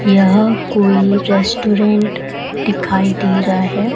यह कोई रेस्टोरेंट दिखाई दे रहा है।